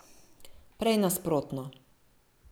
Prej nasprotno.